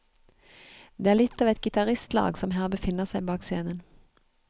Det er litt av et gitaristlag som her befinner seg bak scenen.